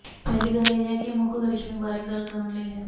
ਪਹਿਲੀ ਗੱਲ ਇਹ ਹੈ ਕਿ ਮੁੱਖ ਕਰਿਸ਼ਮੇ ਬਾਰੇ ਗੱਲ ਕਰਨ ਲਈ ਹੈ